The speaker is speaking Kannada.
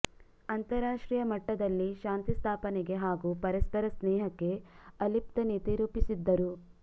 ಅಂತರಾಷ್ಟ್ರೀಯ ಮಟ್ಟದಲ್ಲಿ ಶಾಂತಿ ಸ್ಥಾಪನೆಗೆ ಹಾಗೂ ಪರಸ್ಪರ ಸ್ನೇಹಕ್ಕೆ ಅಲಿಪ್ತ ನೀತಿ ರೂಪಿಸಿದ್ದರು